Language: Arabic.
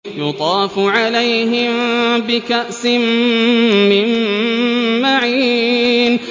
يُطَافُ عَلَيْهِم بِكَأْسٍ مِّن مَّعِينٍ